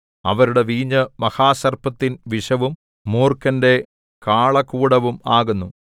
അവരുടെ വീഞ്ഞ് മഹാസർപ്പത്തിൻ വിഷവും മൂർഖന്റെ കാളകൂടവും ആകുന്നു